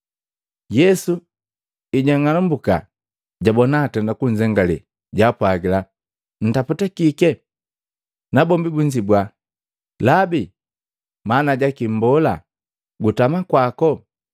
Yesu ejang'alumbuka, jabona bukunzengaliya, jaapwagila, “Ntaputa kike?” Nabombi bunzibua, “Labi maana jaki Mbola, gutama kwako?”